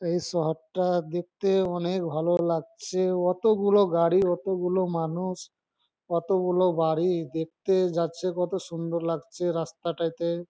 এই শহরটা আ দেখতে অনেএক ভালো লাগছে অতো গুলো গাড়ি অত গুলো মানুষ অত গুলো বাড়ি দেখতে যাচ্ছে কত সুন্দর লাগছে রাস্তাটাকে।